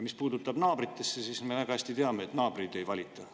Mis puutub naabritesse, siis me väga hästi teame, et naabreid ei valita.